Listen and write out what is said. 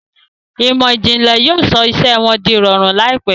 Ìmọ̀ ìjìnlẹ̀ yóò sọ iṣẹ́ wọn di ìrọ̀rùn láìpẹ́.